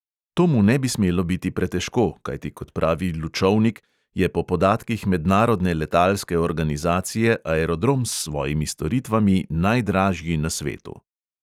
To mu ne bi smelo biti pretežko, kajti kot pravi lučovnik, je po podatkih mednarodne letalske organizacije aerodrom s svojimi storitvami najdražji na svetu.